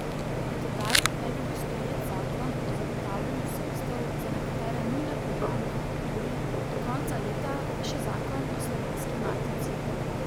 Do tedaj naj bi bil sprejet zakon o zagotavljanju sredstev za nekatere nujne programe v kulturi, do konca leta pa še zakon o Slovenski matici.